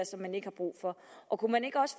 som man ikke har brug for kunne man ikke også